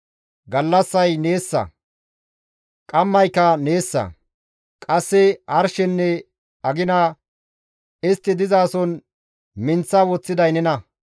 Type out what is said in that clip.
Gallassay neessa; qammayka neessa; qasse arshenne agina istti dizason minththa woththiday nena.